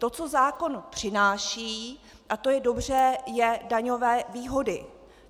To, co zákon přináší, a to je dobře, jsou daňové výhody.